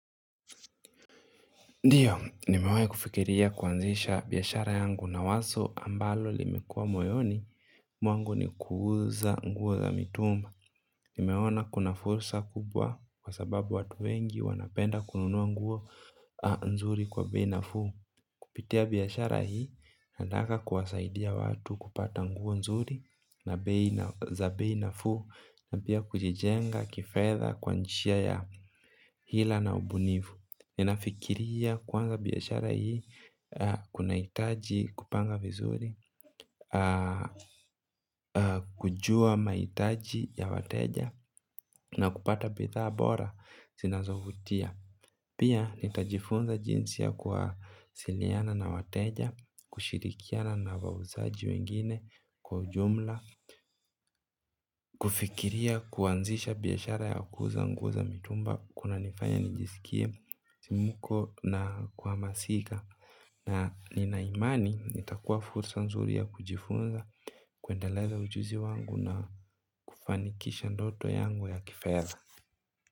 Ndiyo, nimewahi kufikiria kuanzisha biashara yangu na wazo ambalo limekua moyoni, mwangu ni kuuza nguo za mitumba. Nimeona kuna fursa kubwa kwa sababu watu wengi wanapenda kununua nguo nzuri kwa bei nafuu. Kupitia biashara hii, ninaeza anza kuwasaidia watu kupata nguo nzuri za bei nafu na pia kujijenga kifedha kwa njia ya hila na ubunifu. Ninafikiria kwanza biashara hii kunahitaji kupanga vizuri, kujua mahitaji ya wateja na kupata bidhaa bora zinazovutia. Pia nitajifunza jinsi ya kusaidiana na wateja, kushirikiana na wauzaji wengine kwa jumla. Kufikiria kuanzisha biashara ya kuuza nguo za mitumba kunanifanya njisikie muko na kuhamasika. Na nina imani iptakuwa fursa nzuri ya kujifunza kuendeleza ujuzi wangu na kufanikisha ndoto yangu ya kifedha.